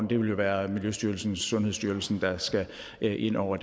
det vil jo være miljøstyrelsen og sundhedsstyrelsen der skal ind over